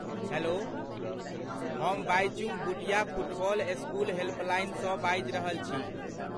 Hello ,हम Baichung Bhutia football school हेल्पलाइनसँ बाजि रहल छी।